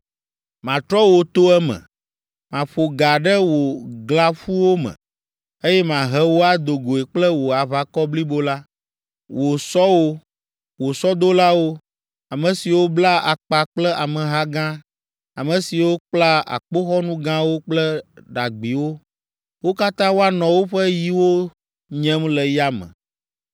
Matrɔ wò to eme, maƒo ga ɖe wò glãƒuwo me, eye mahe wò ado goe kple wò aʋakɔ blibo la, wò sɔwo, wò sɔdolawo, ame siwo bla akpa kple ameha gã, ame siwo kpla akpoxɔnu gãwo kple ɖagbiwo, wo katã woanɔ woƒe yiwo nyem le yame.